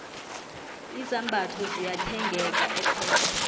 izambatho ziyathengeka epep